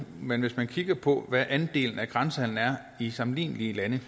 men hvis man kigger på hvad andelen af grænsehandel er i sammenlignelige lande